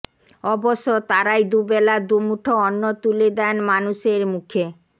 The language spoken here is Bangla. অবশ্য তারাই দুবেলা দুমুঠো অন্ন তুলে দেন মানুষের মুখে